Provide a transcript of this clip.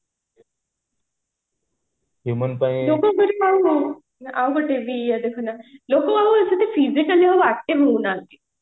ଆଉ ଗୋଟେ ବି ହୋଉନାହାନ୍ତି